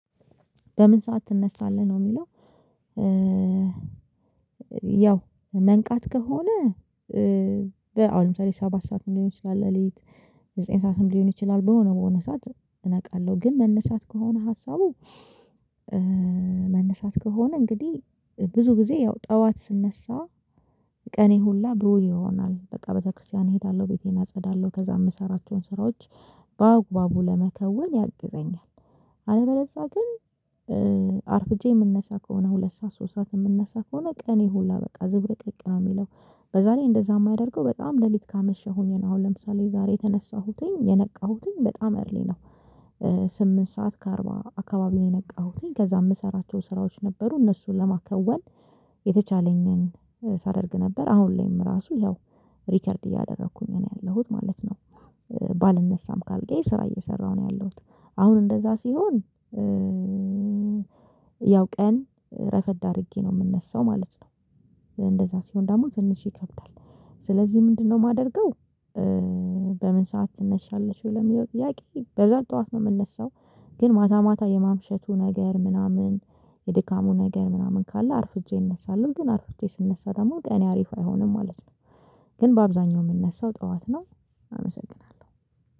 በምን ሰዓት ትነሳለህ? ነው የሚለው ያው መንቃት ከሆነ በአሁን ለምሳሌ ሰባት ሰዓት ሊሆን ይችላል፤ ሌሊት ዘጠኝ ሰዓትም ሊሆን ይችላል በሆነ በሆነ ሰዓት እነቃለሁ። ግን መነሳት ከሆነ ሀሳቡ መነሳት ከሆነ እንግዲህ ብዙ ጊዜ ያው ጠዋት ስነሳ ቀኔ ሁላ ብሩህ ይሆናል። በቃ ቤተክርስቲያን እሄዳለሁ። ቤቴን አጸዳለሁ ከዛ የምሰራቸውን ስራዎች በአግባቡ ለመከወን ያግዘኛል። አለበለዛ ግን አርፍጄ የምንነሳ ከሆነ ሁለት ሰዓት ሶስት ሰዓት የምነሳ ከሆነ ቀኔ ሁላ በቃ ዝብርቅርቅ ነው የሚለው። በዛ ላይ እንደዛ የማደርገው በጣም ሌሊት ካመሸሁኝ አሁን ለምሳሌ ዛሬ የተነሳሁትኝ የነቃሁትኝ በጣም እርሊ ነው። ስምንት ሰዓት ከአርባ አካባቢ የነቃሁትኝ። ከዛ የምሰራቸው ስራዎች ነበሩ እነሱን ለማከወን የተቻለኝን ሳደርግ ነበር አሁን ላይም ራሱ ያው ሪከርድ እያደረኩኝ ነው ያለሁት ማለት ነው። ባልነሳም ካልጋየ ስራ እየሰራሁ ነው ያለሁት። አሁን እንደዛ ሲሆን ያው ቀን ረፈድ አድርጌ ነው የምነሳው ማለት ነው። እንደዛ ሲሆን ደግሞ ትንሽ ይከብዳል። ስለዚህ ምንድነው የማደርገው በምን ሰዓት ትነሻለሽ ለሚለው ጥያቄ በብዛት ጠዋት ነው የምንነሳው። ግን ማታ ማታ የማምሸቱ ነገር ምናምን የድካሙ ነገር ምናምን ካለ አርፍጄ እነሳለሁ። ግን አርፍጄ ስነሳ ደግሞ ቀኔ አሪፍ አይሆንም ማለት ነው። ግን በአብዛኛው የምነሳው ጠዋት ነው። አመሰግናለሁ።